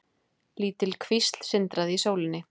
Lítil kvísl sindraði í sólinni.